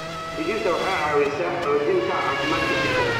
Digirta waxay ka caawisaa xoojinta caafimaadka jirka.